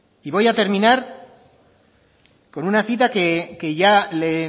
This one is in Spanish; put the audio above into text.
y voy a terminar con una cita que ya le